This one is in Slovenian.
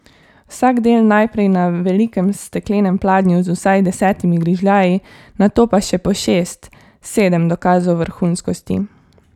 Vsak del najprej na velikem steklenem pladnju z vsaj desetimi grižljaji, nato pa še po šest, sedem dokazov vrhunskosti.